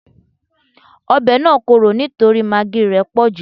Ọbẹ̀ náà korò nítorí magí í rẹ̀ pọ̀jù